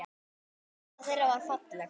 Vinátta þeirra var falleg.